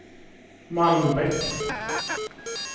Malmbäck